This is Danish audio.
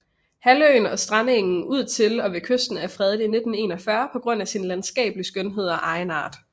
Halvøen og strandengen ud til og ved kysten er fredet i 1941 på grund af sin landskabelige skønhed og egenart